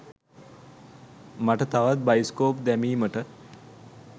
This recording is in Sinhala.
මට තවත් බයිස්කෝප් දැමීමට